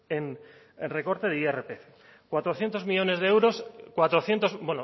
en recorte de irpf cuatrocientos millónes de euros cuatrocientos